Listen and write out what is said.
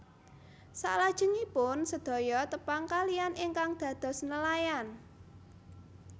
Saklajengipun sedaya tepang kaliyan ingkang dados nelayan